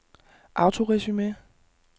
autoresume